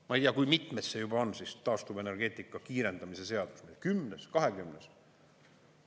Ma ei tea, kui mitmes see juba on, see taastuvenergeetika kiirendamise seadus, 10. või 20.?